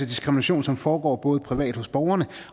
diskrimination som foregår privat hos borgerne